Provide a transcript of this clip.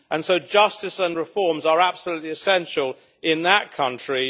so justice and reforms are absolutely essential in that country.